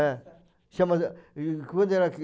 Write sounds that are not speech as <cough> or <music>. É, chamava <unintelligible>